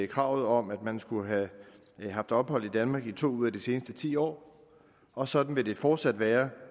kravet om at man skulle have haft ophold i danmark i to ud af de seneste ti år og sådan vil det fortsat være